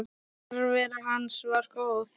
Nærvera hans var góð.